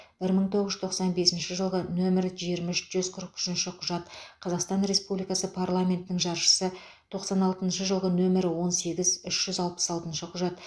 бір мың тоғыз жүз тоқсан бесінші жылғы нөмірі жиырма үш жүз қырық үшінші құжат қазақстан республикасы парламентінің жаршысы тоқсан алтыншы жылы нөмірі он сегіз үш жүз алпыс алтыншы құжат